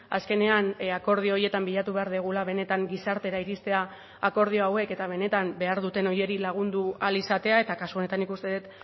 azkenean akordio horietan bilatu behar dugula benetan gizartera iristea akordio hauek eta benetan behar duten horiei lagundu ahal izatea eta kasu honetan nik uste dut